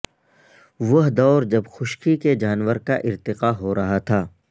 وہ دور جب خشکی کے جانور کا ارتقاء ہورہا تھا